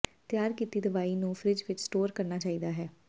ਤਿਆਰ ਕੀਤੀ ਦਵਾਈ ਨੂੰ ਫਰਿੱਜ ਵਿੱਚ ਸਟੋਰ ਕਰਨਾ ਚਾਹੀਦਾ ਹੈ